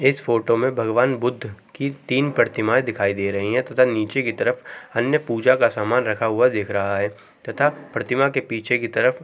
इस फोटो भगवान बुद्ध की तीन प्रतिमा दिखाई दे रही हैं तथा नीचे की तरफ अन्न पूजा की का सामान रखा हुआ दिख रहे है तथा प्रतिमा पीछे की तरफ --